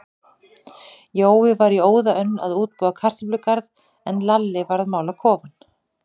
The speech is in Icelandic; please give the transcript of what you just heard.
Jói var í óða önn að útbúa kartöflugarð, en Lalli var að mála kofann.